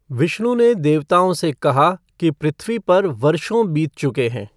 विष्णु ने देवताओं से कहा कि पृथ्वी पर वर्षों बीत चुके हैं।